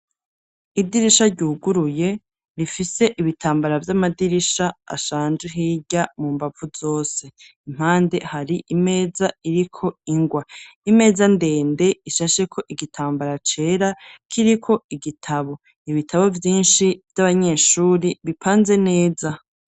Idirisha ryuguruye ,rifise ibitambara vy'amadirisha ashanje,, hirya mu mbavu zose impande hari imeza iriko ingwa, imeza ndende, ishashe ko igitambara cera k'iri ko igitabo, ibitabo vyinshi vy'abanyeshuri bipanze neza.